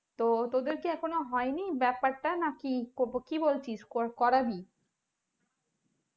তো তোদের কি এখনো হয়নি ব্যাপারটা নাকি কি বলছিস করাবি